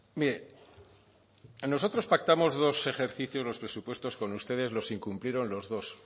mire nosotros pactamos dos ejercicios los presupuestos con ustedes los incumplieron los dos